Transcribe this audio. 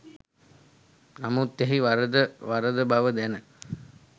නමුත් එහි වරද වරද බව දැන